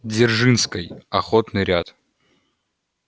дзержинской охотный ряд